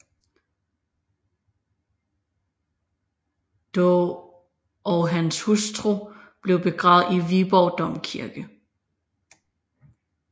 Daa og hans hustru blev begravet i Viborg Domkirke